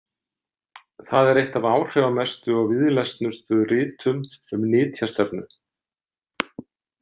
Það er eitt af áhrifamestu og víðlesnustu ritum um nytjastefnu.